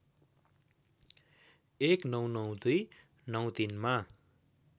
१९९२ ९३ मा